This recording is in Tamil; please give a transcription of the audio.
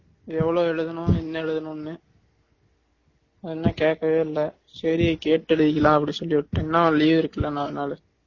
எவ்ளோ எழுதணும் என்ன எழுதனும்னு அதுனால கேக்கவே இல்ல சேரி கேட்டு எழுதிக்கலாம்னு அப்படினு சொல்லி விட்டுட்டேன் இன்னும் leave இருக்குல நாலு நாளு